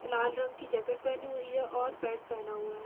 लाल रंग की जैकेट पहनी हुई है और पैंट पहना हुआ हैं।